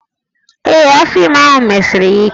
Ee, afọ ime ahụ mesiri ya ike